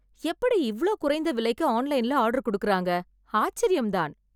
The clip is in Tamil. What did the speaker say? எப்படி இவ்ளோ குறைந்த விலைக்கு ஆன்லைன்ல ஆர்டர் கொடுக்கறாங்க ஆச்சரியம் தான்